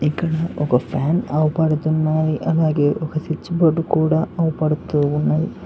ఒక ఫ్యాన్ అవుపడుతున్నది అలాగే ఒక స్విచబోర్డ్ కూడా అవపడుతూ ఉన్నది.